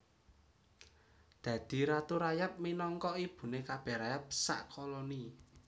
Dadi ratu rayap minangka ibuné kabèh rayap sak koloni